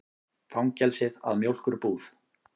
Fangelsið að mjólkurbúð.